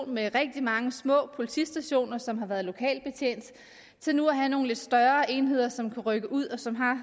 med rigtig mange små politistationer som har været lokalt betjent til nu at have nogle lidt større enheder som kan rykke ud og som har